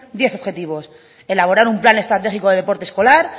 diez objetivos elaborar un plan estratégico de deporte escolar